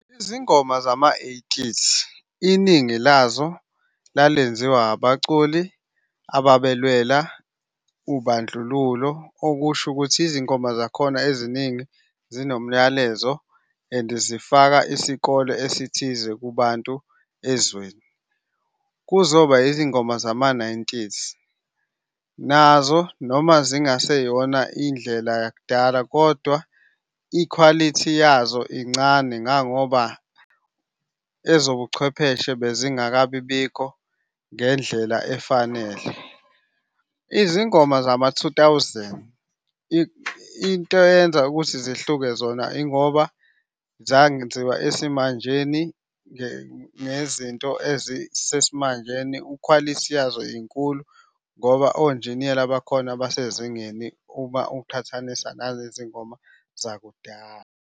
Izingoma zama-eighties, iningi lazo lalenziwa abaculi ababelwela ubandlululo. Okusho ukuthi izingoma zakhona eziningi zinomlayezo and zifaka isikole esithize kubantu ezweni. Kuzoba izingoma zama-nineties, nazo noma zingaseyona indlela yakudala kodwa ikhwalithi yazo incane ngangoba ezobuchwepheshe bezingakabi bikho ngendlela efanele. Izingoma zama-two thousand, into eyenza ukuthi zihluke zona ingoba zangenziwa esimanjeni ngezinto ezisesimanjeni. Ukhwalithi yazo inkulu, ngoba onjiniyela bakhona basezingeni uma uqhathanisa nalezi ngoma zakudala.